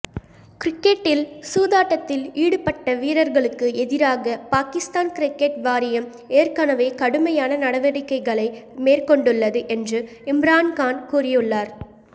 கிரிக்கெட்டில் சூதாட்டத்தில் ஈடுபட்ட வீரர்களுக்கு எதிராக பாகிஸ்தான் கிரிக்கெட் வாரியம் ஏற்கனவே கடுமையான நடவடிக்கைகளை மேற்கொண்டுள்ளது என்று இம்ரான்கான் கூறியுள்ளார்